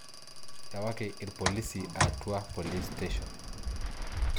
Ewaki irpolisi Arua police station.